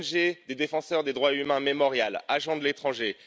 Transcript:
L'ONG des défenseurs des droits humains Memorial agent de l'étranger!